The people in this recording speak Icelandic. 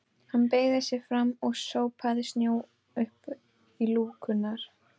Hann beygði sig fram og sópaði snjó upp í lúkurnar.